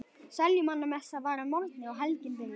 Seljumannamessa var að morgni og helgin byrjuð.